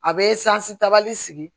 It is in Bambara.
A bɛ sansi tabali sigi